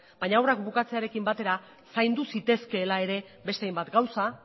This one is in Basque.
baina obrak bukatzearekin batera zaindu zitezkeela ere beste hainbat gauza